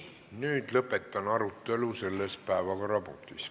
Nüüd lõpetan arutelu selles päevakorrapunktis.